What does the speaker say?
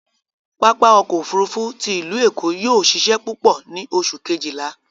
Papa ọkọ ofurufu ti ilu Eko yóò ṣiṣẹ pupọ ni Oṣu kejila